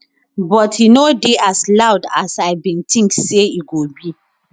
but e no dey as loud as i bin think say e go be